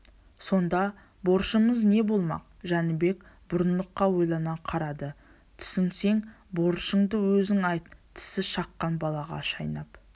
сонда борышымыз не болмақ жәнібек бұрындыққа ойлана қарады түсінсең борышыңды өзің айт тісі шыққан балаға шайнап